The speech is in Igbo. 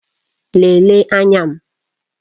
Lelee anya m!